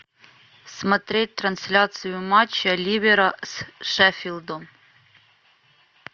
смотреть трансляцию матча ливера с шеффилдом